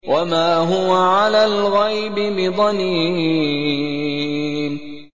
وَمَا هُوَ عَلَى الْغَيْبِ بِضَنِينٍ